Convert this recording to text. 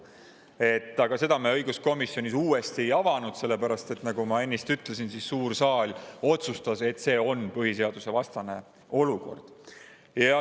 Aga seda me õiguskomisjonis uuesti ei avanud, sellepärast et nagu ma ennist ütlesin, suur saal otsustas, et see on põhiseadusevastane olukord.